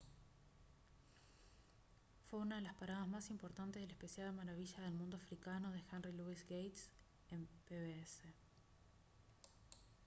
fue una de las paradas más importantes del especial maravillas del mundo africano de henry louis gates en pbs